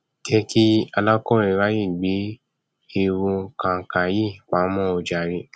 jẹ kí alákọwé ráàyè gbé ẹwù kànkà yìí pamọ o jàre